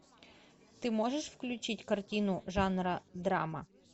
ты можешь включить картину жанра драма